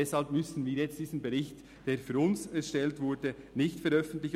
Aber deshalb müssen wir jetzt diesen Bericht, der für uns erstellt wurde, nicht veröffentlichen.